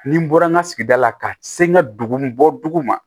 Ni n bɔra n ka sigida la ka se n ka dugu bɔ dugu ma